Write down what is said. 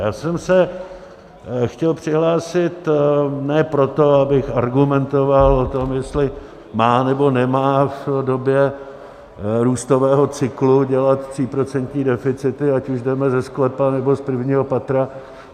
Já jsem se chtěl přihlásit ne proto, abych argumentoval o tom, jestli má, nebo nemá v době růstového cyklu dělat tříprocentní deficity, ať už jdeme ze sklepa, nebo z prvního patra.